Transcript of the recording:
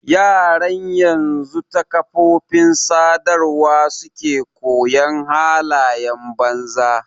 Yaran yanzu ta kafofin sadarwa suke koyon halayen banza.